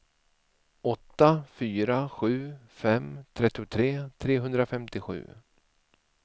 åtta fyra sju fem trettiotre trehundrafemtiosju